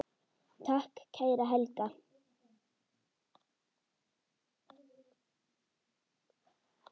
Takk, kæra Helga.